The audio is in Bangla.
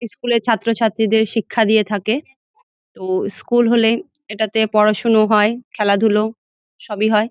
স্কুল এর ছাত্র-ছাত্রীদের শিক্ষা দিয়ে থাকে। তো-ও স্কুল হলে এটাতে পড়া শুনা হয় খেলা ধূলো সবই হয়।